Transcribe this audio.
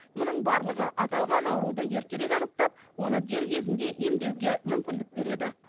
мұның барлығы аталған ауруды ертерек анықтап оны дер кезінде емдеуге мүмкіндік береді